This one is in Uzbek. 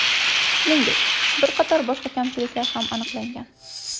Shuningdek, bir qator boshqa kamchiliklar ham aniqlangan.